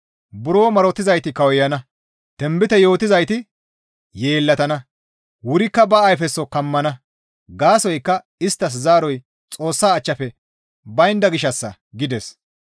Buro marotizayti kawuyana; tinbite yootizayti yeellatana; wurikka ba ayfeso kammana; gaasoykka isttas zaaroy Xoossa achchafe baynda gishshassa» gides.